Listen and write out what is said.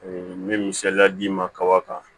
n bɛ misaliya d'i ma kaba kan